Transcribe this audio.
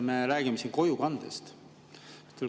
Me räägime siin kojukandest.